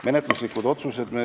Menetluslikud otsused.